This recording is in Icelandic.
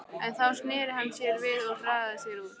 En þá sneri hann sér við og hraðaði sér út.